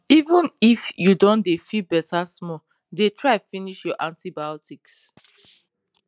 even if you don dey feel better small dey try finish your antibiotics